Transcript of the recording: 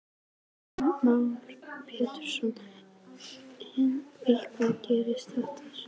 Heimir Már Pétursson: En hvað gerist þetta snöggt?